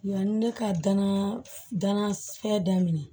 Yanni ne ka dana danakɛ daminɛ